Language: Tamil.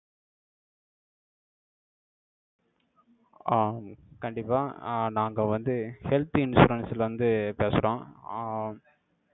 ஆஹ் கண்டிப்பா, அஹ் நாங்க வந்து, health insurance ல இருந்து, பேசுறோம். ஆஹ்